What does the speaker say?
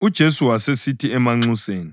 UJesu wasesithi emanxuseni,